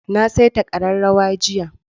Na saita ƙararrawa jiya.